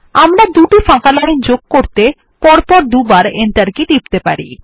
আমরা দুটি ফাঁকা লাইন যোগ করতে পরপর দুবার এন্টার কী টিপতে পারি